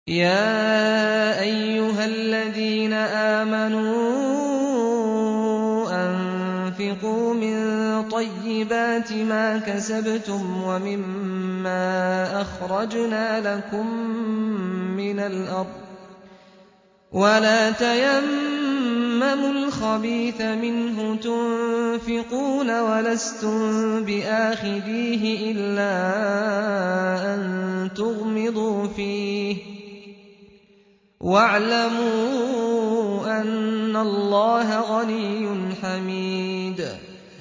يَا أَيُّهَا الَّذِينَ آمَنُوا أَنفِقُوا مِن طَيِّبَاتِ مَا كَسَبْتُمْ وَمِمَّا أَخْرَجْنَا لَكُم مِّنَ الْأَرْضِ ۖ وَلَا تَيَمَّمُوا الْخَبِيثَ مِنْهُ تُنفِقُونَ وَلَسْتُم بِآخِذِيهِ إِلَّا أَن تُغْمِضُوا فِيهِ ۚ وَاعْلَمُوا أَنَّ اللَّهَ غَنِيٌّ حَمِيدٌ